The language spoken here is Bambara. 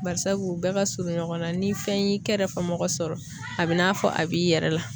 Barisabu, u bɛɛ ka surun ɲɔgɔn na. Ni fɛn y'i kɛrɛfɛmɔgɔ sɔrɔ a b'i n'a fɔ a b'i yɛrɛ la.